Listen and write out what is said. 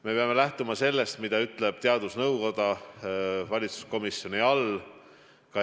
Me peame lähtuma sellest, mida ütleb valitsuskomisjoni juures tegutsev teadusnõukoda.